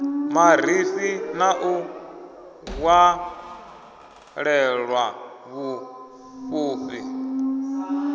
marifhi na u ṅwalelwa vhurufhi